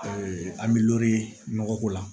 an bɛ lɔgɔ ye nɔgɔ ko la